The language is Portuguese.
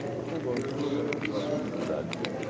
Ele falou tá bom, então solta a tropa na cidade.